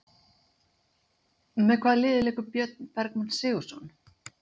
Með hvaða liði leikur Björn Bergmann Sigurðarson?